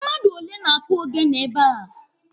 Mmadụ ole na-akụ ogene ebe a?